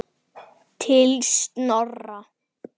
Linda: Komið þið oft hingað?